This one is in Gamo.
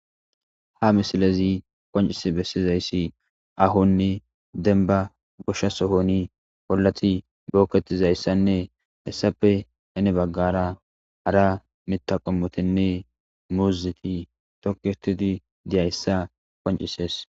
Ha misilezi qoncis bessizayssi ahonni denba gosha sohoni pollati bookketizayssanne hessappe ine baggara hara mitaqomotinne muuziti tokitidi diyayssa qoncisees.